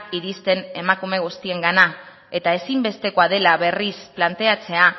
iristen emakume guztiengana eta ezinbestekoa dela berriz planteatzea